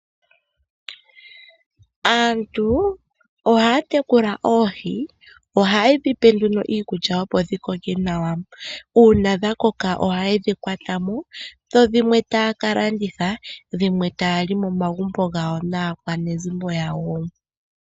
Aantu ohaya tekula oohi. Ohaye dhipe nduno iikulya opo dhikoke nawa. Uuna dhakoka ohaye dhi kwatamo, dho dhimwe taya kalanditha, dhimwe taya li momagumbo gawo naakwanezimo yawo.